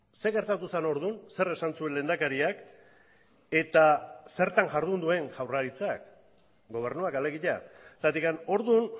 zer gertatu zen orduan zer esan zuen lehendakariak eta zertan jardun duen jaurlaritzak gobernuak alegia zergatik orduan